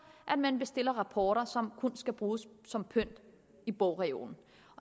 at man bestiller rapporter som kun skal bruges som pynt i bogreolen